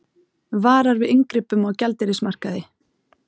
Varar við inngripum á gjaldeyrismarkaði